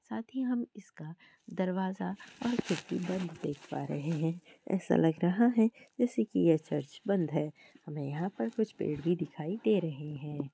साथ ही हम इसका दरवाजा और खिड़की बंद देख पा रहे हैं। ऐसा लग रहा है की जैसे ये चर्च बंद है। हमें यहाँ पर कुछ पेड़ भी दिखाई दे रहे हैं।